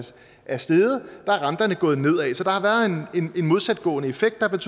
er steget er renterne gået nedad så der har været en modsatgående effekt der